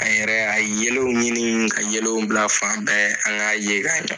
An yɛrɛ y'a yelenw ɲini ka yelenw bila fan bɛɛ an ka ye ka ɲɛ.